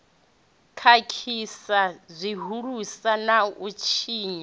khakhisa zwihulusa na u tshinya